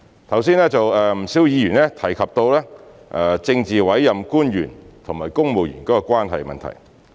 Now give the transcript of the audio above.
剛才有不少議員提及政治委任官員和公務員關係的問題。